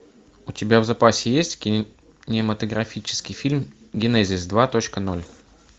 у тебя в запасе есть кинематографический фильм генезис два точка ноль